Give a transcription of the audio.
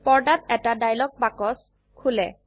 পর্দাত এটা ডায়লগ বাক্স খোলে